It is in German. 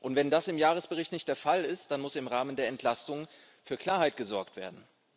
Wenn das im Jahresbericht nicht der Fall ist, dann muss im Rahmen der Entlastung für Klarheit gesorgt werden.